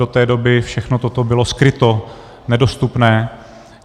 Do té doby všechno toto bylo skryto, nedostupné.